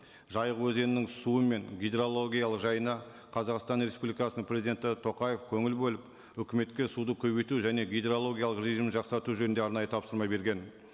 жайық өзенінің суы мен гидрологиялық жайына қазақстан республикасының президенті тоқаев көңіл бөліп үкіметке суды көбейту және гидрологиялық режимін жақсарту жөнінде арнайы тапсырма берген